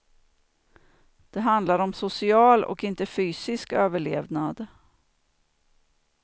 Det handlar om social och inte fysisk överlevnad.